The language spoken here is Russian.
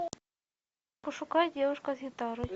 пошукай девушка с гитарой